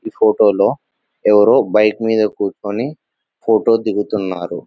ఈ ఫోటోలో ఎవరో బైక్ మీద కూర్చుని ఫోటో దిగుతున్నారు .